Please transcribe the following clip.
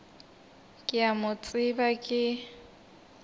ke a mo tseba ke